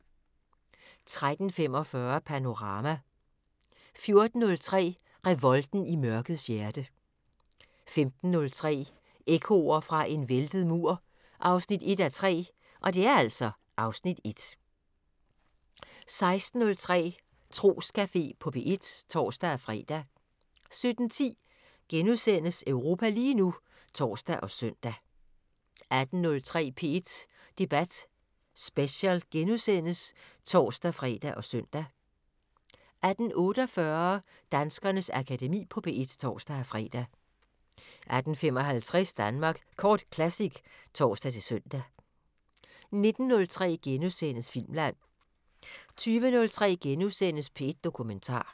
13:45: Panorama 14:03: Revolten i mørkets hjerte 15:03: Ekkoer fra en væltet mur 1:3 (Afs. 1) 16:03: Troscafé på P1 (tor-fre) 17:10: Europa lige nu *(tor og søn) 18:03: P1 Debat Special *(tor-fre og søn) 18:48: Danskernes Akademi på P1 (tor-fre) 18:55: Danmark Kort Classic (tor-søn) 19:03: Filmland * 20:03: P1 Dokumentar *